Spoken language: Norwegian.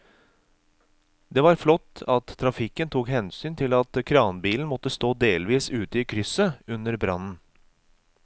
Det var flott at trafikken tok hensyn til at kranbilen måtte stå delvis ute i krysset under brannen.